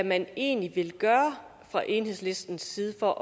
man egentlig vil gøre fra enhedslistens side for